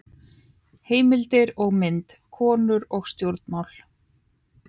Heimildir og mynd: Konur og stjórnmál.